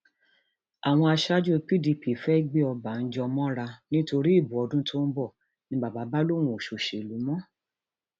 àwọn aṣáájú pdp fẹẹ gbé ọbànjọ mọra nítorí ìbò ọdún tó ń bọ ni bàbá bá lóun ò ṣòṣèlú mọ